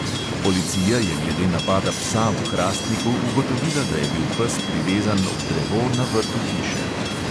Policija je glede napada psa v hrastniku ugotovila, da je bil pes privezan ob drevo na vrtu hiše.